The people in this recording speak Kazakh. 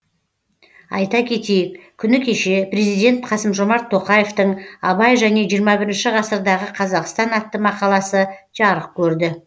айта кетейік күні кеше президент қасым жомарт тоқаевтың абай және жиырма бірінші ғасырдағы қазақстан атты мақаласы жарық көрді